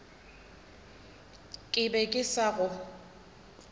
ke be ke sa go